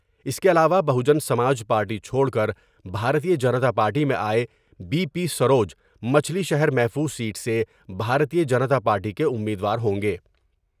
اس کے علاوہ بہوجن سماج پارٹی چھوڑ کر بھارتیہ جنتا پارٹی میں آۓ بی پی سروج مچھلی شہر محفوظ سیٹ سے بھارتیہ جنتا پارٹی کے امیدوار ہوں گے ۔